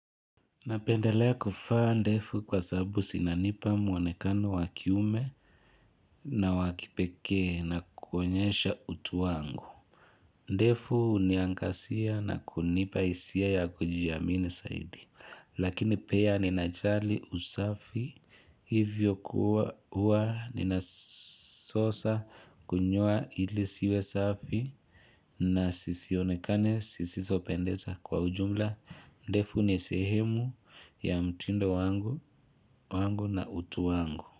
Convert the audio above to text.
Napendelea kuvaa ndefu kwa sababu zinanipa muonekano wa kiume na wa kipekee na kuonyesha utu wangu. Ndefu huniangazia na kunipa hisia ya kujiamini zaidi. Lakini pia ninajali usafi. Hivyo kuwa huwa ninasosa kunywa ili ziwe safi na zisionekane zisisopendeza kwa ujumla. Ndevu ni sehemu ya mtindo wangu na utu wangu.